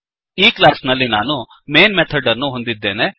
ಈ ಕ್ಲಾಸ್ ನಲ್ಲಿ ನಾನು ಮೈನ್ ಮೆಥಡ್ ಅನ್ನು ಹೊಂದಿದ್ದೇನೆ